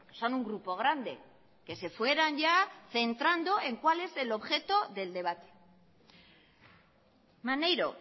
son un grupo grande que se fueran ya centrando en cual es el objeto del debate maneiro